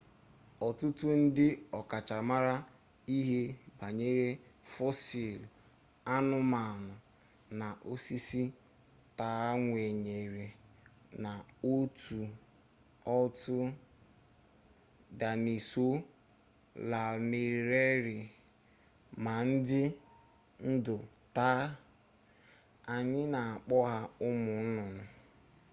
ọtụtụ ndị ọkachamara ihe banyere fọsịl anụmanụ na osisi taa kwenyere na otu otu daịnosọọ lanarịrị ma dị ndụ taa anyị na-akpọ ha ụmụ nnụnụ